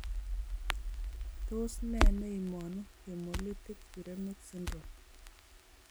Tos ne neimonu hemolytic uremic syndrome?